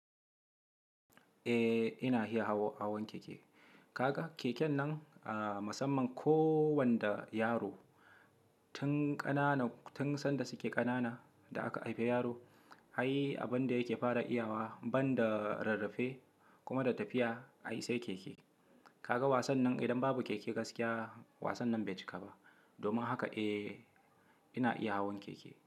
Eh ina iya hawan keke. Kaga keken nan, a musamman ko wanda yaro tun ƙanana, tun sanda suke ƙanana da aka haife yaro har abinda yake fara iyawa banda rarrafe kuma da tafiya, ai sai keke. Kaga wasan nan idan babu keke gaskiya wasan nan bai cika ba. Domin haka eh ina iya hawan keke.